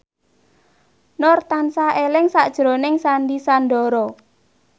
Nur tansah eling sakjroning Sandy Sandoro